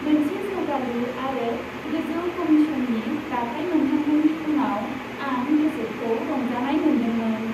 मोनसे जौगालु आरो गोजौ कमीशननि दाथाइ मोनखांनायनि उनाव, आं गोसोखौ रंजानाय मोनदोंमोन।